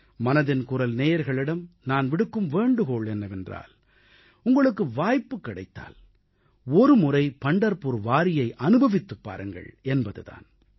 மனதின் குரல் நேயர்களிடம் நான் விடுக்கும் வேண்டுகோள் என்னவென்றால் உங்களுக்கு வாய்ப்புக் கிடைத்தால் ஒருமுறை பண்டர்புர் வாரியை அனுபவித்துப் பாருங்கள் என்பது தான்